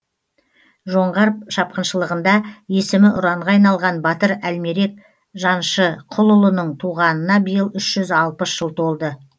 жоңғар шапқыншылығында есімі ұранға айналған батыр әлмерек жаншықұлының туғанына биыл үш жүз алпыс жыл толды